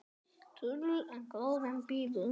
Þulur: En gróðinn býður?